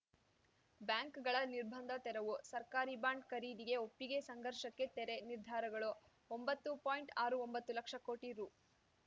ಬ್ಯಾಂಕ್‌ಗಳ ನಿರ್ಬಂಧ ತೆರವು ಸರ್ಕಾರಿ ಬಾಂಡ್‌ ಖರೀದಿಗೆ ಒಪ್ಪಿಗೆ ಸಂಘರ್ಷಕ್ಕೆ ತೆರೆ ನಿರ್ಧಾರಗಳು ಒಂಬತ್ತು ಪಾಯಿಂಟ್ಆರು ಒಂಬತ್ತು ಲಕ್ಷ ಕೋಟಿ ರು